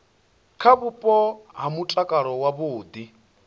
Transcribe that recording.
kha vhupo ha mutakalo wavhudi